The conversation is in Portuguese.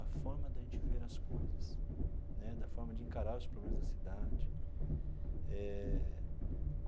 A forma de a gente ver as coisas né, da forma de encarar os problemas da cidade eh.